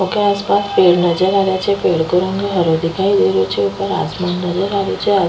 ओ के आस पास पेड़ नजर आ रिया छे पेड़ को रंग हरो दिखाई दे रियो छे ऊपर आसमान नजर आ रियो छे।